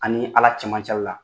An' nii Ala cɛmancɛla la.